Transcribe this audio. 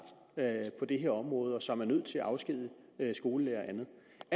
på det her område og som er nødt til at afskedige skolelærere